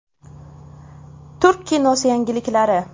Turk kinosi yangiliklari.